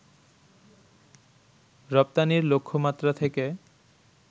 রপ্তানির লক্ষ্যমাত্রা থেকে